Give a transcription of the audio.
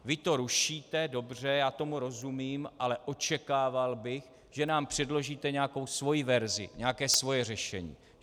Vy to rušíte, dobře, já tomu rozumím, ale očekával bych, že nám předložíte nějakou svoji verzi, nějaké svoje řešení.